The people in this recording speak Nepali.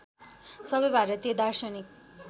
सबै भारतीय दार्शनिक